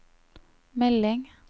melding